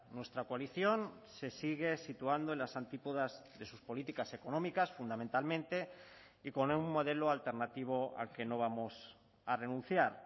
nuestra coalición se sigue situando en las antípodas de sus políticas económicas fundamentalmente y con un modelo alternativo al que no vamos a renunciar